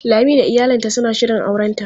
Lami da iyalinta suna shirin aurenta.